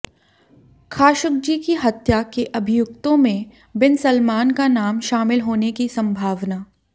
Khashoggi की हत्या के अभियुक्तों में बिन सलमान का नाम शामिल होने की संभावना